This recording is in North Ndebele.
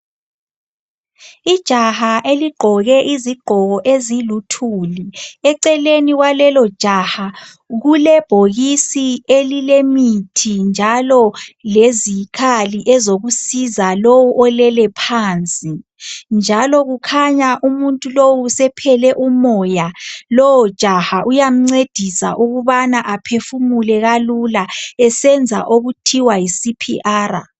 Ijaha eligqoke izigqoko eziluthuli eceleni kwalelo jaha kulebhokisi elilemithi njalo lezikhali ezokusiza lowu olelephansi njalo kukhanya umuntu lowu sephele umoya lowo jaha uyamncedisa ukubana aphefumule kalula esenza okuthiwa yiCPR